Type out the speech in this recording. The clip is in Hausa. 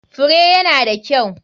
Fure ya na da kyau.